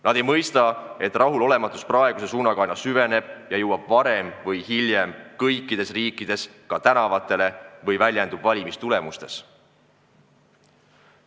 Nad ei mõista, et rahulolematus praeguse suunaga aina süveneb ja varem või hiljem jõuab see kõikides riikides tänavatele või väljendub valimistulemustes.